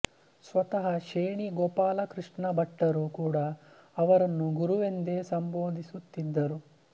ಸ್ವತಃ ಶೇಣೀ ಗೋಪಾಲಕೃಷ್ಣ ಭಟ್ಟರೂ ಕೂಡಾ ಅವರನ್ನು ಗುರು ಎಂದೇ ಸಂಬೋಧಿಸುತ್ತಿದ್ದರು